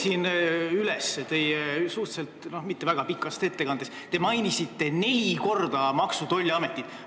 Ma lugesin kokku, oma mitte väga pikas ettekandes te mainisite neli korda Maksu- ja Tolliametit.